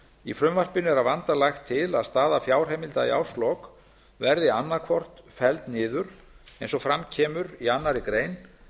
í frumvarpinu er að vanda lagt til að staða fjárheimilda í árslok verði annað hvort felld niður eins og fram kemur í annarri grein